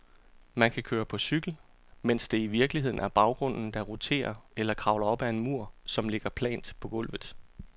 Man kan køre på cykel, mens det i virkeligheden er baggrunden, der roterer, eller kravle op ad en mur, som ligger plant på gulvet.